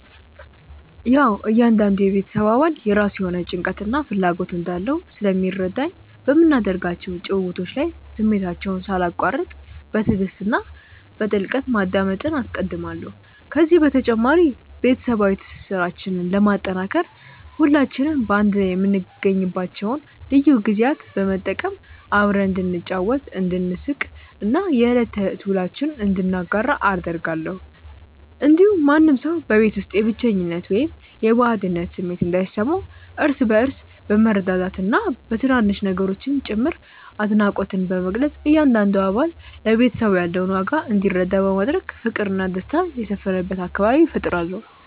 ያዉ እያንዳንዱ የቤተሰብ አባል የራሱ የሆነ ጭንቀትና ፍላጎት እንዳለው ስለሚረዳኝ፣ በምናደርጋቸው ጭውውቶች ላይ ስሜታቸውን ሳላቋርጥ በትዕግስት እና በጥልቀት ማዳመጥን አስቀድማለሁ። ከዚህ በተጨማሪ፣ ቤተሰባዊ ትስስራችንን ለማጠናከር ሁላችንም በአንድ ላይ የምንገኝባቸውን ልዩ ጊዜያት በመጠቀም አብረን እንድንጫወት፣ እንድንሳቅ እና የዕለት ተዕለት ውሎአችንን እንድንጋራ አደርጋለሁ። እንዲሁም ማንም ሰው በቤት ውስጥ የብቸኝነት ወይም የባዕድነት ስሜት እንዳይሰማው፣ እርስ በእርስ በመረዳዳትና በትናንሽ ነገሮችም ጭምር አድናቆትን በመግለጽ እያንዳንዱ አባል ለቤተሰቡ ያለውን ዋጋ እንዲረዳ በማድረግ ፍቅርና ደስታ የሰፈነበት አካባቢ እፈጥራለሁ።